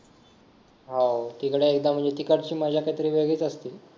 हा तिकडे एकदा तिकडची मज्जा काहीतरी वेगळीच असते ना